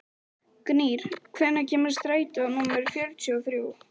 Gnýr, hvenær kemur strætó númer fjörutíu og þrjú?